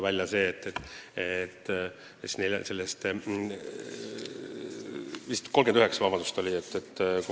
Vabandust, neid oli vist 39.